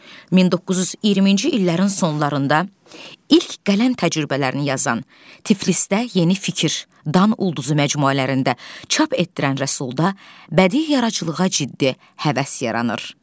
1920-ci illərin sonlarında ilk qələm təcrübələrini yazan, Tiflisdə Yeni Fikir, Dan ulduzu məcmuələrində çap etdirən Rəsulda bədii yaradıcılığa ciddi həvəs yaranır.